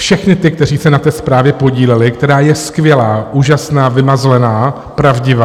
Všechny ty, kteří se na té zprávě podíleli, která je skvělá, úžasná, vymazlená, pravdivá.